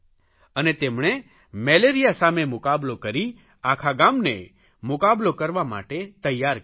અને તેમણે મેલેરિયા સામે મુકાબલો કરી આખા ગામને મુકાબલો કરવા માટે તૈયાર કર્યું